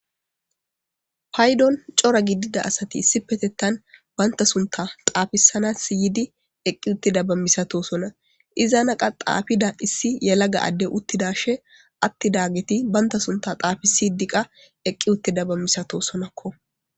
paydon cora gidida asati issi petettan baynta sunta xaafisana siydi eqqi uttida bamisatosona izanaqa xaafida issi yelaga adde uttidashe atti dageti baynta sunta xaafisi diqa eqqi uttida bammisato sonakko